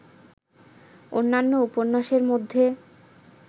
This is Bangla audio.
অন্যান্য উপন্যাসের মধ্যে